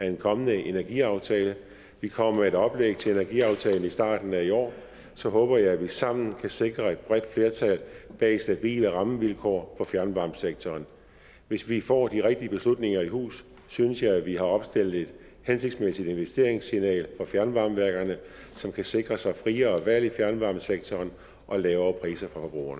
en kommende energiaftale vi kommer med et oplæg til energiaftalen i starten af i år så håber jeg at vi sammen kan sikre et bredt flertal bag stabile rammevilkår for fjernvarmesektoren hvis vi får de rigtige beslutninger i hus synes jeg at vi har opsendt et hensigtsmæssigt investeringssignal til fjernvarmeværkerne som kan sikre sig friere valg i fjernvarmesektoren og lavere priser